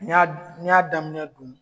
N y'a n y'a daminɛ dun